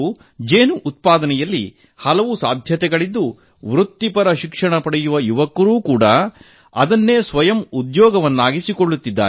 ಜೇನು ಉತ್ಪಾದನೆಯಲ್ಲಿ ಇಂದು ಹಲವು ಸಾಧ್ಯತೆಗಳಿದ್ದು ವೃತ್ತಿಪರ ಶಿಕ್ಷಣ ಪಡೆಯುವ ಯುವಕರೂ ಅದನ್ನೇ ಸ್ವಯಂ ಉದ್ಯೋಗವನ್ನಾಗಿ ಮಾಡಿಕೊಳ್ಳುತ್ತಿದ್ದಾರೆ